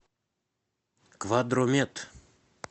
квадромед